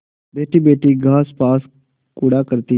बैठीबैठी घास पात कूटा करती